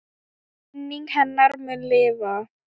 Minning hennar mun lifa.